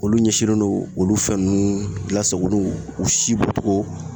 Olu ɲɛsinlen no olu fɛn ninnu lasagoluw u si bɔtogo